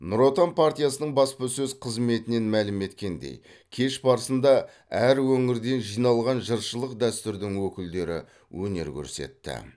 нұр отан партиясының баспасөз қызметінен мәлім еткендей кеш барысында әр өңірден жиналған жыршылық дәстүрдің өкілдері өнер көрсетті